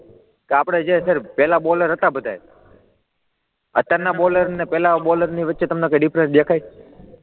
આપણે જે સર પહેલા બોલર હતા બધાય અત્યારના બોલર અને પહેલાના બોલરની વચ્ચે તમને કાઈ ડિફરન્સ દેખાય?